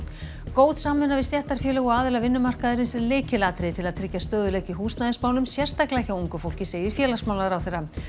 góð samvinna við stéttarfélög og aðila vinnumarkaðarins er lykilatriði til að tryggja stöðugleika í húsnæðismálum sérstaklega hjá ungu fólki segir félagsmálaráðherra